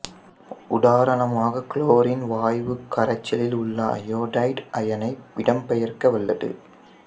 உதாரணமாக குளோரின் வாயு கரைசலிலுள்ள அயோடைடு அயனை இடம்பெயர்க்க வல்லது